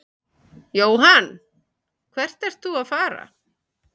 Jóhann: Hvert ert þú að fara?